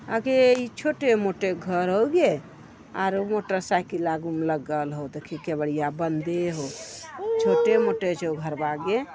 अगे इ छोटे - मोटे घर हउ गे | आरो मोटर साइकिल आगु में लगल हउ | देखीं केवड़िया बन्दे हउ | छोटे मोटे छो घरवा गे |